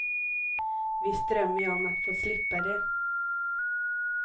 Visst drömmer jag om att få slippa det.